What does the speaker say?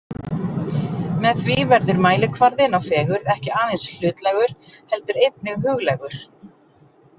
Með því verður mælikvarðinn á fegurð ekki aðeins hlutlægur heldur einnig huglægur.